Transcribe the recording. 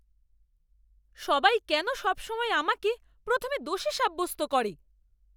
সবাই কেন সবসময় আমাকে প্রথমে দোষী সাব্যস্ত করে?